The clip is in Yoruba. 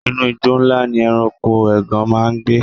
Inú igbó ńlá ni ẹranko ègàn máa ń gbé.